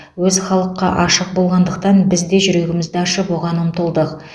өзі халыққа ашық болғандықтан біз де жүрегімізді ашып оған ұмтылдық